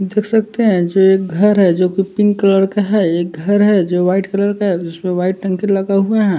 देख सकते हैं जो एक घर है जोकि पिंक कलर का है एक घर है जो व्हाइट कलर का है जिसपे व्हाइट टंकी लगा हुआ है।